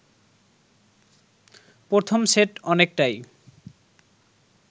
প্রথম সেট অনেকটাই